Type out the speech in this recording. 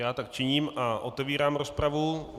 Já tak činím a otevírám rozpravu.